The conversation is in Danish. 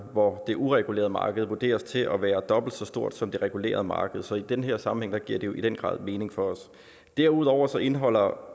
hvor det uregulerede marked vurderes til at være dobbelt så stort som det regulerede marked så i den her sammenhæng giver det jo i den grad mening for os derudover indeholder